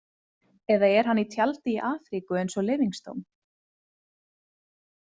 Eða er hann í tjaldi í Afríku eins og Livingstone?